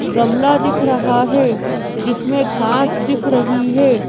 गमला दिख रहा है जिसमें घास दिख रही है।